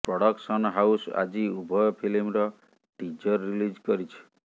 production house ଆଜି ଉଭୟ ଫିଲ୍ମର ଟିଜର ରିଲିଜ କରିଛି